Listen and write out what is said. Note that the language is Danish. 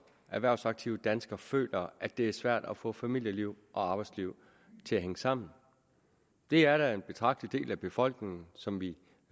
erhvervsaktive danskere føler at det er svært at få familieliv og arbejdsliv til at hænge sammen det er da en betragtelig del af befolkningen som vi